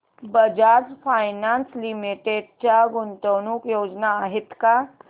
Bajaj finance limited च्या गुंतवणूक योजना आहेत का